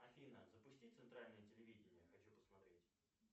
афина запусти центральное телевидение хочу посмотреть